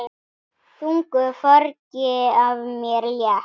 Þungu fargi af mér létt.